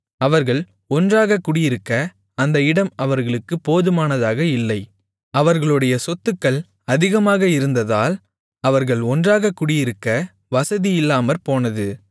அவர்கள் ஒன்றாகக் குடியிருக்க அந்த இடம் அவர்களுக்குப் போதுமனதாக இல்லை அவர்களுடைய சொத்துக்கள் அதிகமாக இருந்ததால் அவர்கள் ஒன்றாகக் குடியிருக்க வசதி இல்லாமற்போனது